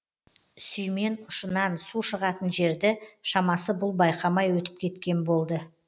сүймен ұшынан су шығатын жерді шамасы бұл байқамай өтіп кеткен болды